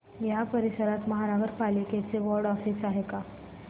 या परिसरात महानगर पालिकेचं वॉर्ड ऑफिस आहे का